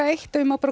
eitt ef ég má